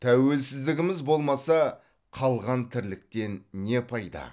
тәуелсіздігіміз болмаса қалған тірліктен не пайда